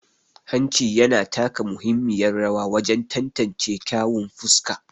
Hanci yana taka muhimmiyar rawa wajen tantance kyawun fuska.